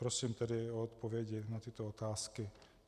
Prosím tedy o odpovědi na tyto otázky.